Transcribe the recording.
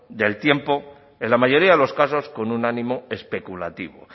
del tiempo en la mayoría de los casos con un ánimo especulativo